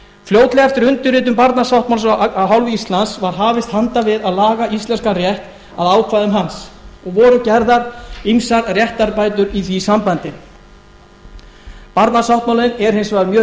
fljótlega eftir undirritun barnasáttmálans af hálfu íslands var hafist handa við að laga íslenskan rétt að ákvæðum hans og voru gerðar ýmsar réttarbætur í því sambandi barnasáttmálinn er hins vegar mjög